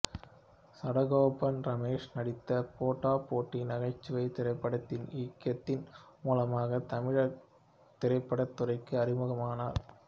சடகோபன் ரமேஷ் நடித்த போட்டா போட்டி நகைச்சுவைத் திரைப்படத்தை இயக்கியதன் மூலமாகத் தமிழ்த் திரைப்படத் துறைக்கு அறிமுகமானார்